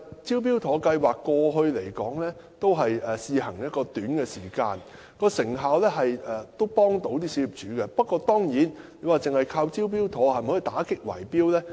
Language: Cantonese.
"招標妥"計劃過去試行了一段短時間，對小業主有所幫助，但單靠此計劃是否可以打擊圍標呢？